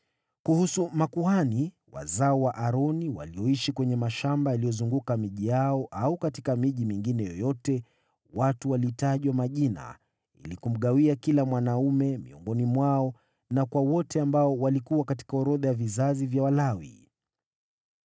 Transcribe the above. Kuhusu makuhani, wazao wa Aroni walioishi kwenye mashamba yaliyozunguka miji yao au katika miji mingine yoyote, watu walitajwa majina ili kumgawia kila mwanaume miongoni mwao na kwa wote waliokuwa katika orodha ya vizazi vya Walawi.